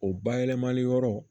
O bayɛlɛmali yɔrɔ